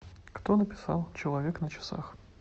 кто написал человек на часах